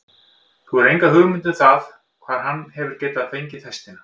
Þú hefur enga hugmynd um það hvar hann hefur getað fengið festina?